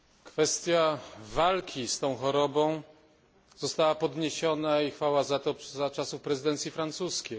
Kwestia walki z tą chorobą została podniesiona i chwała za to za czasów prezydencji francuskiej.